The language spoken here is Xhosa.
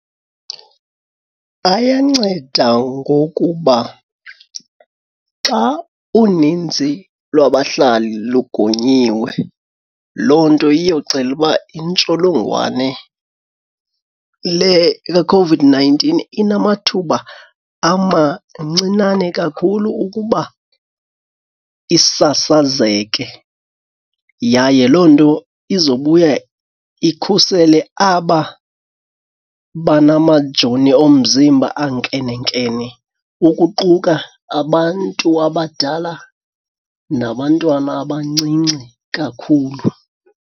Ayanceda ngokuba xa unintsi lwabahlali lugonyiwe loo nto iyoxela uba intsholongwane leCOVID-nineteen inamathuba amancinane kakhulu ukuba isasazeke. Yaye loo nto izobuya ikhusele aba banamajoni omzimba ankenenkene ukuquka abantu abadala nabantwana abancinci kakhulu.